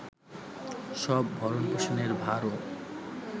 সব ভরণ পোষণের ভারও